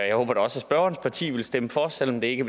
jeg håber da også at spørgerens parti vil stemme for selv om det ikke